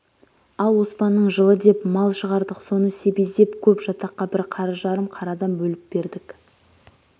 ал оспанның жылы деп мал шығардық соны себездеп көп жатаққа бір қара жарым қарадан бөліп бердік